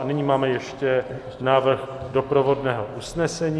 A nyní máme ještě návrh doprovodného usnesení.